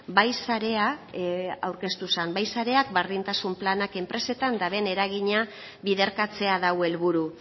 bai sarea aurkeztu zen bai sareak berdintasun planak enpresetan daren eragina biderkatzea du helburu